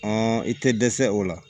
i tɛ dɛsɛ o la